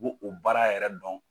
o baara yɛrɛ dɔn.